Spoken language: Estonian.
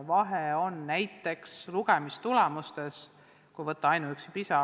Vahe on näiteks lugemistulemustes, kui võtta aluseks ainuüksi PISA.